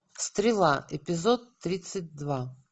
стрела эпизод тридцать два